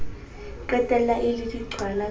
qetella e le diqhwala ka